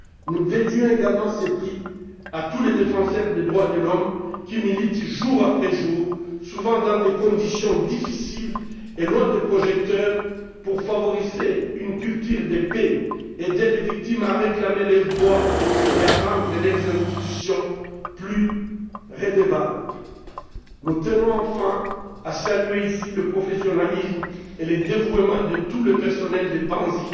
Nous dédions également ce prix à tous les défenseurs des droits de l'homme qui militent jour après jour, souvent dans des conditions difficiles et loin des projecteurs, pour favoriser une culture de paix, aider les victimes à réclamer leurs droits et à rendre leurs institutions plus redevables. Nous tenons enfin à saluer, ici, le professionnalisme et le dévouement de tout le personnel de Panzi